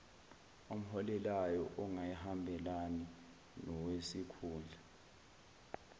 omholelayo ongahambelani nowesikhundla